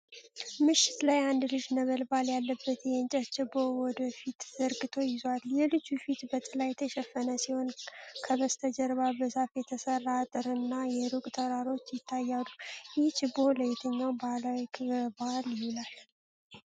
ምሽት ላይ አንድ ልጅ ነበልባል ያለበት የእንጨት ችቦ ወደ ፊት ዘርግቶ ይዟል። የልጁ ፊት በጥላ የተሸፈነ ሲሆን፣ ከበስተጀርባ በዛፍ የተሰራ አጥር እና የሩቅ ተራሮች ይታያሉ። ይህ ችቦ ለየትኛው ባህላዊ ክብረ በዓል ይውላል?